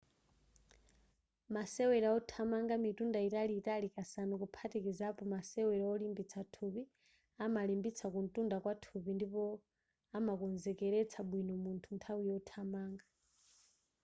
masewera othamanga mitunda italiitali kasanu kuphatikizilapo masewero olimbitsa thupi amalimbitsa kuntunda kwathupi ndipo amakonzekeletsa bwino munthu nthawi yothamanga